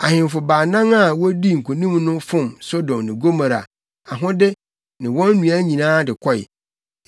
Ahemfo baanan a wodii nkonim no fom Sodom ne Gomorafo ahode ne wɔn nnuan nyinaa de kɔe.